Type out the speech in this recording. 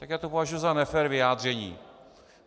Tak já to považuji za nefér vyjádření.